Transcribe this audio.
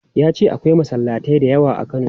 Ya ce akwai masallatai da yawa a Kano.